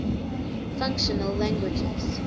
functional languages